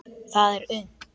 Það er unnt.